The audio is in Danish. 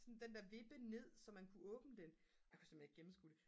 sådan den der vippe ned så man kunne åbne den og jeg kunne simpelthen ikke gennemskue det